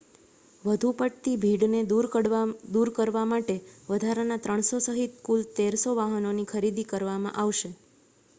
વધુ પડતી ભીડને દૂર કરવા માટે વધારાના 300 સહિત કુલ 1,300 વાહનોની ખરીદી કરવામાં આવશે